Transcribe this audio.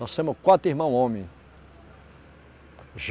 Nós somos quatro irmãos homens.